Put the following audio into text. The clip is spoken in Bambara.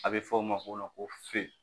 A bɛ fɔ o ma ko ko.